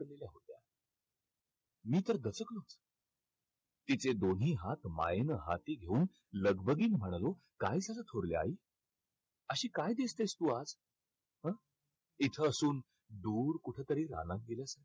मी तर दचकलो. तिचे दोन्ही हात मायेनं हाती घेऊन लगबघीनं म्हणालो काय झालं थोरली आई? अशी काय दिसतेस तू आज? हा? इथं असून दुरे कुठंतरी रानात गेल्यासारखी.